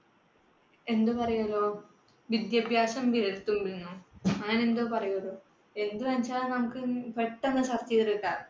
എന്തു പറയുന്നു, വിദ്യാഭ്യാസം വിരല്‍ തുമ്പില്‍. അങ്ങനെ എന്തോ പറയൂലോ, എന്ന് വെച്ചാൽ നമുക്ക് പെട്ടെന്ന് search ചെയ്ത് കിട്ടാം.